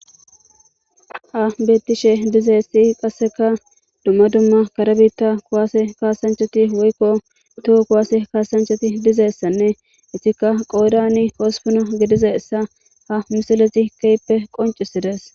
Ha bettishe dizeessi qasseka dumma dumma kara biitta kowaase kaasanchoti woykko toho kowaase kaasanchoti dizeessanne itikka qoodani ospona gediza issa ha misilezi keyppe qoncisides.